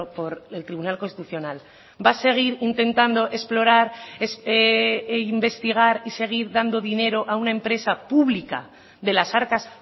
por el tribunal constitucional va a seguir intentando explorar e investigar y seguir dando dinero a una empresa pública de las arcas